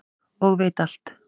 og veit alt.